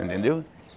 Entendeu?